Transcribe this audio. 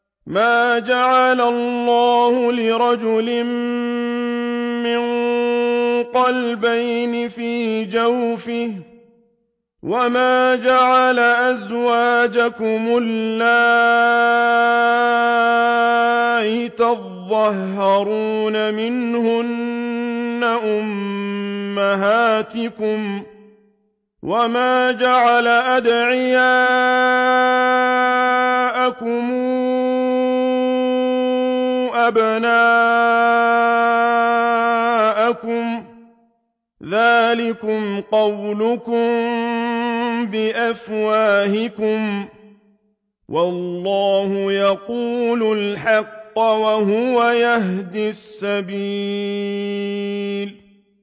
مَّا جَعَلَ اللَّهُ لِرَجُلٍ مِّن قَلْبَيْنِ فِي جَوْفِهِ ۚ وَمَا جَعَلَ أَزْوَاجَكُمُ اللَّائِي تُظَاهِرُونَ مِنْهُنَّ أُمَّهَاتِكُمْ ۚ وَمَا جَعَلَ أَدْعِيَاءَكُمْ أَبْنَاءَكُمْ ۚ ذَٰلِكُمْ قَوْلُكُم بِأَفْوَاهِكُمْ ۖ وَاللَّهُ يَقُولُ الْحَقَّ وَهُوَ يَهْدِي السَّبِيلَ